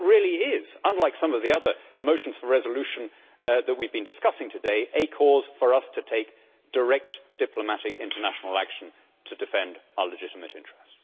That really is, unlike some of the other motions for resolutions that we have been discussing today, a cause for us to take direct diplomatic international action to defend our legitimate interests.